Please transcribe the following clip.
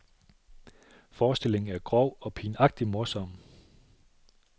Forestillingen er grov og pinagtig morsom.